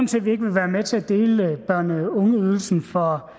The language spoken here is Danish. til at vi ikke vil være med til at dele børne og ungeydelsen for